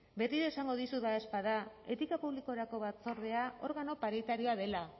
beti esango dizut badaezpada etika publikorako batzordea organo paritarioa dela